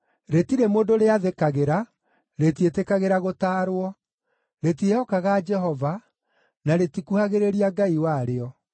Rĩtirĩ mũndũ rĩathĩkagĩra, rĩtiĩtĩkagĩra gũtaarwo. Rĩtiĩhokaga Jehova, na rĩtikuhagĩrĩria Ngai warĩo.